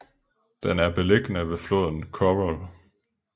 Den er beliggende ved floden Khorol